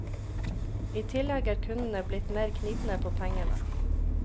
I tillegg er kundene blitt mer knipne på pengene.